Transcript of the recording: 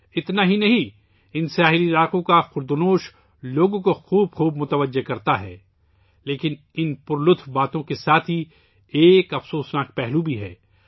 یہی نہیں، ان ساحلی علاقوں کے کھانے لوگوں کو اپنی طرف متوجہ کرتے ہیں لیکن ان مزیدار باتوں کے ساتھ ساتھ ایک افسوسناک پہلو بھی ہے